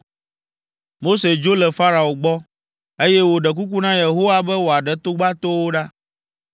Mose dzo le Farao gbɔ, eye wòɖe kuku na Yehowa be wòaɖe togbatoawo ɖa.